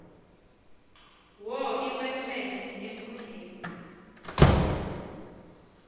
wo iwemfene enkundleni